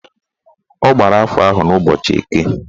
Ọ gbara afa ahụ n'ụbọchị Eke